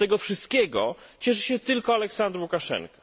Z tego wszystkiego cieszy się tylko Aleksander Łukaszenka.